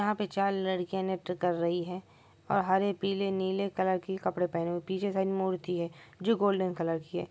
यहां पे चार लड़कियां नृत्य कर रही है और हरे पीले नीले कलर की कपड़े पहने है पीछे साइड मूर्ति है जो गोल्डन कलर की है।